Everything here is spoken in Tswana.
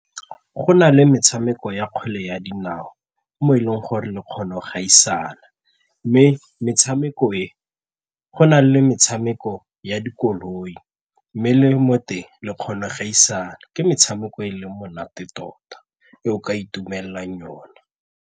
Go na le metshameko ya kgwele ya dinao mo e leng gore le kgona go gaisana mme metshameko e, go na le metshameko ya dikoloi mme le mo teng le kgona go gaisana ke metshameko e e leng monate tota e o ka itumelelang yona.